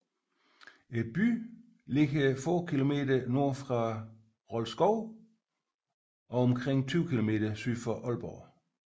Byen ligger få kilometer nord for Rold Skov og omkring 20 kilometer syd for Aalborg